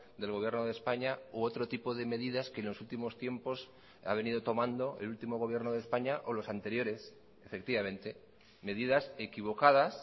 del gobierno de españa u otro tipo de medidas que en los últimos tiempos ha venido tomando el último gobierno de españa o los anteriores efectivamente medidas equivocadas